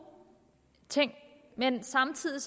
ting men samtidig